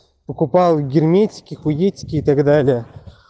покупал герметики хуетики и так далее